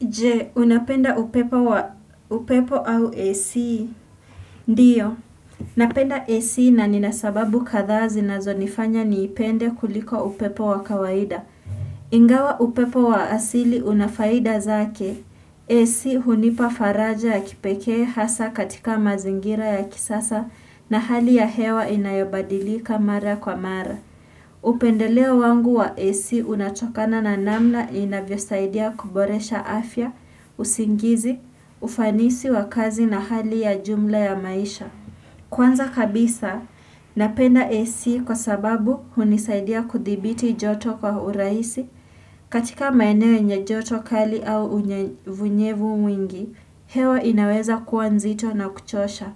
Je, unapenda upepo wa upepo au AC? Ndiyo, napenda AC na ninasababu kadhaa zi na zonifanya niipende kuliko upepo wa kawaida. Ingawa upepo wa asili unafaida zake. AC hunipa faraja ya kipekee hasa katika mazingira ya kisasa na hali ya hewa inayobadilika mara kwa mara. Upendeleo wangu wa AC unatokana na namna inavyo saidia kuboresha afya, usingizi, ufanisi wa kazi na hali ya jumla ya maisha Kwanza kabisa, napenda AC kwa sababu hunisaidia kudhibiti joto kwa uraisi katika maeneo yenye joto kali au unyevunyevu mwingi, hewa inaweza kuwanzito na kuchosha